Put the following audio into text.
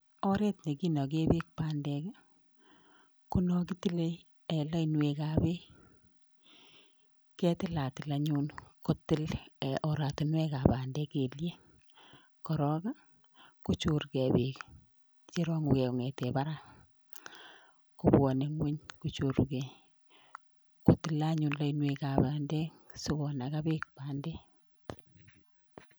Oret nekinagee peek bandek ko no kitile lainwek ap peek, ketilatil anyun kotil oratunwek ap bandek kelyen korokkochorgei peek cherong'ukei kong'etee barak kobwone ng'wuny kochorugei kotile anyun lainwek ap bandek sikonaga peek bandek